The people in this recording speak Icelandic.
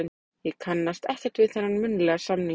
Ég kannast ekkert við þennan munnlega samning.